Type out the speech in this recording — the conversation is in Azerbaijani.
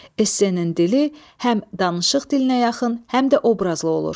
Essenin dili həm danışıq dilinə yaxın, həm də obrazlı olur.